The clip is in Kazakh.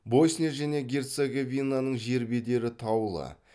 босния және герцеговинаның жер бедері таулы